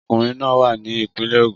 Ọkùnrin náà wà ní ìpínlẹ̀ Ogun